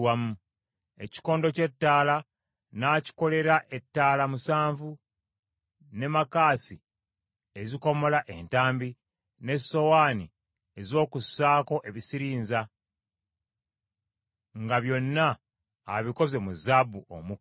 Ekikondo ky’ettaala n’akikolera ettaala musanvu, ne makansi ezikomola entambi, n’essowaani ez’okussaako ebisirinza, nga byonna abikoze mu zaabu omuka.